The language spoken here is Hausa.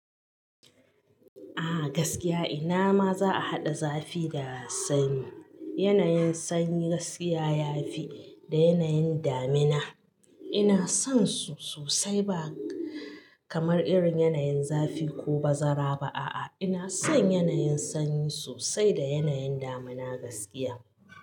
A gaskiya ina ma za a haɗa zafi da sanyi. Yanayin sanyi gaskiya ya fi da yanayin damina. Ina son su sosai ba kamar irin yanayin zafi ko bazara ba a'a. Ina son yanayin sanyi sosai da yanayin damina gaskiya.